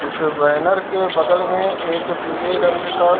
इस बैनर के बगल में एक पीले रंग का --